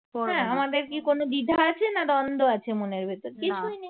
হ্যাঁ আমাদের কি কোন দ্বিধা আছে না দ্বন্দ্ব আছে মনের ভেতর? কিছুই নেই